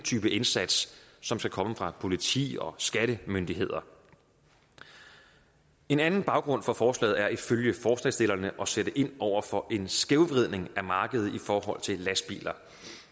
type indsats som skal komme fra politi og skattemyndigheder en anden baggrund for forslaget er ifølge forslagsstillerne at sætte ind over for en skævvridning af markedet i forhold til lastbiler